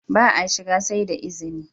Ba a shiga sai da izini!